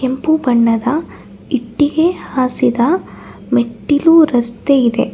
ಕೆಂಪು ಬಣ್ಣದ ಇಟ್ಟಿಗೆ ಹಾಸಿದ ಮೆಟ್ಟಿಲು ರಸ್ತೆ ಇದೆ.